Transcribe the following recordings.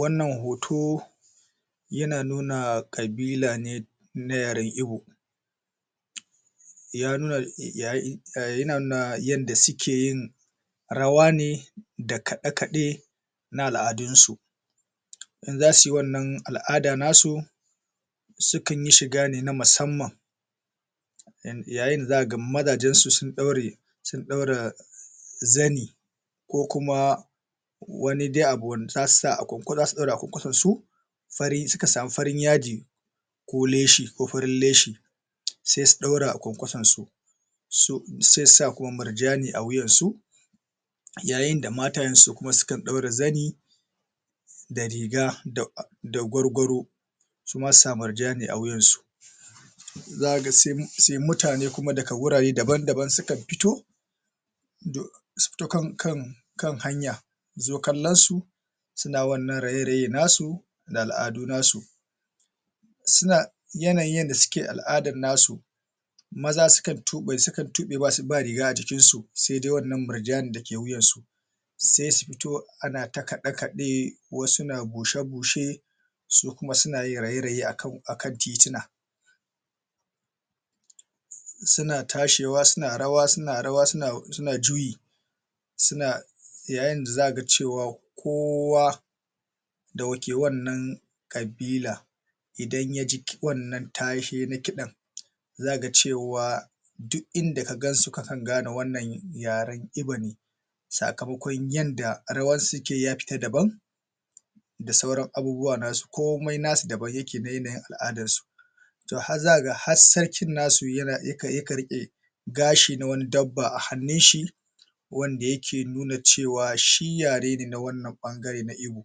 wannan hoto yana nuna kabila ne na yaren ibo ya nuna um yana nuna yanda suke yi rawa ne da kaɗe kaɗe na al'adun su in zasuyi wannan al'ada nasu sukan yi shiga ne na musamman yayinda zakaga mazajensu sun ɗaure sun ɗaura zani ko kuma wani de abu wanda zasu sa akuku[um] a kwankwason suka sami farin yadi ko leshi ko farin leshi sai su ɗaura a kwankwason su su sai su sa kum murjani a wuyan su yayinda matayen su kuma sukan ɗaura zani da riga da da gwargwaro suma susa murjani a wuyan su zakaga sun[um] sai mutane kuma daga wurare daban daban sukan fito su fito kan kan um kan hanya zo kallon su suna wannan raye raye nasu da al'adu nasu suna yanayi yanda suke al'adan nasu maza sukan tuɓe sukan tuɓe ba ba riga ajikin su sai dai wannan murjani dake wuyan su sai su fito ana ta kaɗe kaɗe wasu na bushe bushe su kuma suna suna yin raye raye akan titina suna tashewa suna rawa suna rawa suna[um] su juyi suna yayinda zakaga cewa kowa da wa ke wannan kabila idan yaji ki[um] wannan tashe na kiɗan za'a cewa duk inda kagansu kakan gane wannan ne yaren ibo ne sakamakon yadda rawa sukeyi ya fita daban da sauran abubuwa nasu komai nasu daban yake da yanayi aladan su to har zakaga har sarkin nasu yana yakan[um] yakan rike gashi na wani dabba a hanun shi wanda yake nuna cewa shi yare ne na wannan ɓangare na ibo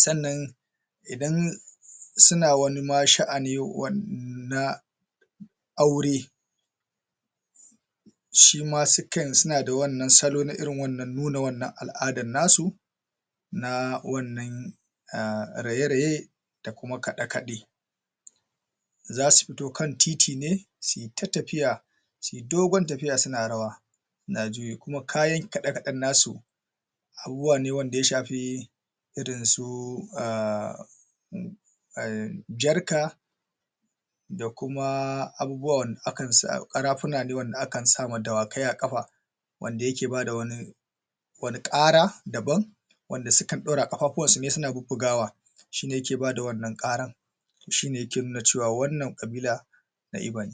sannan idan suna wani ma sha'ani wa na aure shima sukan suna da wannan salo na irin wannan nuna wannan al'ada nasu na wannan um raye raye da kuma kaɗe kaɗe zasu fito kan titi ne suyi ta tafiya suyi dogon tafiya suna rawa na juyi kuma kayan kaɗde kaɗen nasu abubuwa ne wanda ya shafi irin su um jarka da kuma abubuwa wanda akan sa ƙarafuna wanda akan sa ma dawakai a ƙafa wanda yake bada wani wani ƙara daban wanda sukan ɗaura a ƙafafuwansu ne suna bubbugawa shine yake bada wannan ƙaran shine yake nuna cewa wannan kabila na Ibo ne.